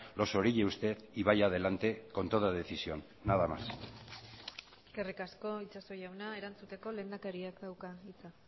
los orille usted y vaya adelante con toda decisión nada más eskerrik asko itxaso jauna erantzuteko lehendakariak dauka hitza